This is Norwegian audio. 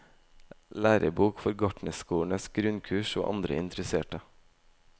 Lærebok for gartnerskolenes grunnkurs og andre interesserte.